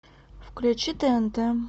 включи тнт